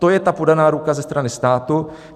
To je ta podaná ruka ze strany státu.